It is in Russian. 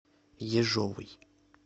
ежовой